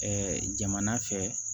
jamana fɛ